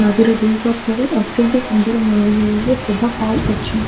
ନଦୀର ଦୁଇ ପାଖରେ ଅତ୍ୟନ୍ତ ସୁନ୍ଦର ଶୋଭା ପାଉଅଛି।